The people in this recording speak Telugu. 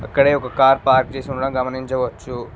అక్కడే ఒక కార్ పార్క్ చేసి ఉండడం గమనించవచ్చు.